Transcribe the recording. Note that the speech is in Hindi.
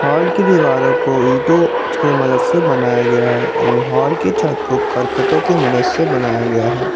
हॉल की दीवारों को ईंटो के मदद से बनाया गया है एवं हॉल की छत को करकटो के मदद से बनाया गया है।